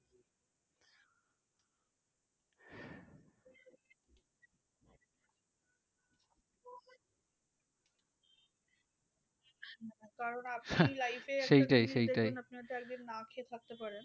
কারণ আপনি life এ আপনি হয়তো একদিন না খেয়ে থাকতে পারেন